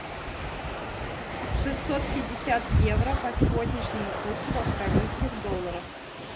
шестьсот пятьдесят евро по сегодняшнему курсу в австралийских долларах